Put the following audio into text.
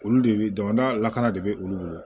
Olu de bɛ jamana lakana de bɛ olu bolo